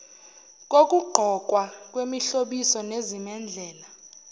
kokugqokwa kwemihlobiso nezimendlela